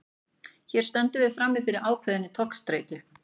Hér stöndum við því frammi fyrir ákveðinni togstreitu.